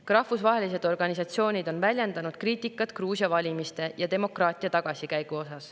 Ka rahvusvahelised organisatsioonid on väljendanud kriitikat Gruusia valimiste ja demokraatia tagasikäigu kohta.